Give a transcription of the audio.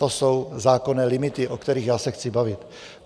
To jsou zákonné limity, o kterých já se chci bavit.